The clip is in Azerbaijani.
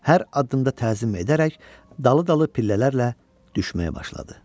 Hər addımda təzim edərək dalı-dalı pillələrlə düşməyə başladı.